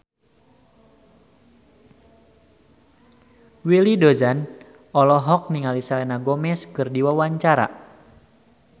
Willy Dozan olohok ningali Selena Gomez keur diwawancara